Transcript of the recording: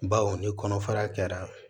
Baw ni kɔnɔfara kɛra